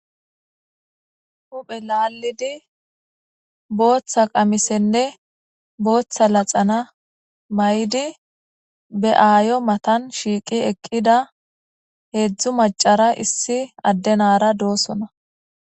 huphe laallidi booththa qamisenne booththa laxana may7di be7aayo matan shiiqi eqqida heedzdzu macara issi addenara doosona